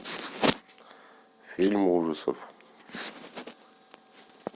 фильм ужасов